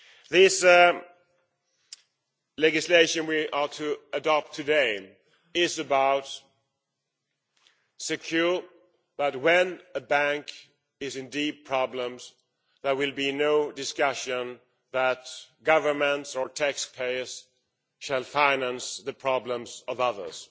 This legislation, that we are to adopt today, is about ensuring that when a bank is in deep problems, there will be no discussion that governments or taxpayers shall finance the problems of others.